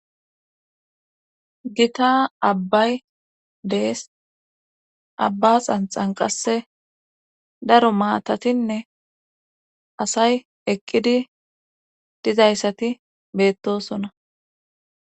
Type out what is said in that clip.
gita abbay dees abba xanxan qasse daro maatatinne asay eqqidi dizayssati beettosona